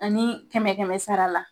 Ani kɛmɛ kɛmɛ sara la